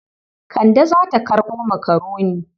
Kande za ta karɓo makaroni.